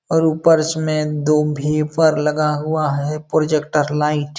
और ऊपर इसमें दो भीपर लगा हुआ है। Projector light --